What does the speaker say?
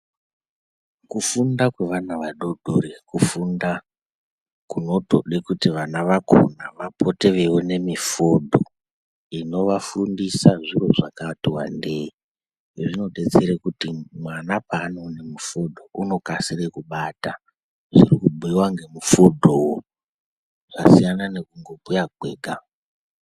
Kufunda kwevana vadodori kufunda kunotoda kuti vana vakhona vapote veiona mifodho inovafundisa zvirozvakati wandei. Izvi zvinodetsera kuti mwana panofunda unokasire kubata zvirikubhuiwa ngemufodhowo. Zvasiyana nekungobhuya kwega.